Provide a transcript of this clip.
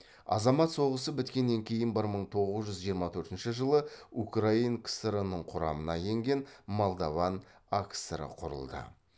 азамат соғысы біткеннен кейін бір мың тоғыз жүз жиырма төртінші жылы украин кср інің құрамына енген молдован акср і құрылды